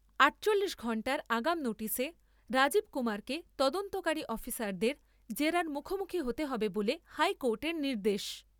আটচল্লিশ ঘণ্টার আগাম নোটিশে রাজীব কুমারকে তদন্তকারী অফিসারদের জেরার মুখোমুখি হতে হবে বলে হাইকোর্টের নির্দেশ।